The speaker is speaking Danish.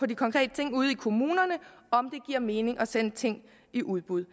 de konkrete ting ude i kommunerne om det giver mening at sende ting i udbud